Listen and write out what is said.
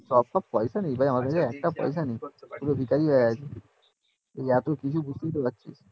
একটাও পয়সা নেই রে আমার কাছে একটাও পয়সা নেই পুরো ভিকারি হয়ে আছি এই অফিস শুধু আসছি